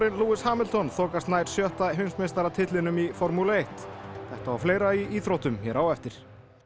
Lewis Hamilton þokast nær sjötta heimsmeistaratitlinum í formúlu eitt þetta og fleira í íþróttum hér á eftir